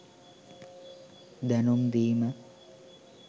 දැනුම් දීම